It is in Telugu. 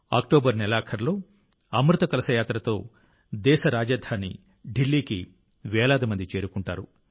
అక్టోబర్ నెలాఖరులో అమృత కలశ యాత్రతో దేశ రాజధాని ఢిల్లీకి వేలాది మంది చేరుకుంటారు